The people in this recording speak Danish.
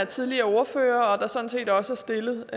tidligere ordførere og der er sådan set også stillet